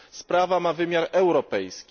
Sprawa ma wymiar europejski.